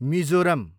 Mizoram